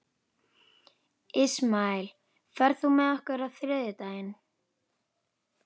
Ismael, ferð þú með okkur á þriðjudaginn?